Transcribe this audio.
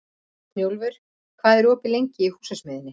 Snjólfur, hvað er opið lengi í Húsasmiðjunni?